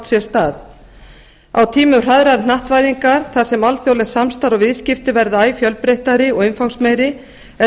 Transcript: sér stað á tímum hraðrar hnattvæðingar þar sem alþjóðlegt samstarf og viðskipti verða æ fjölbreyttari og umfangsmeiri er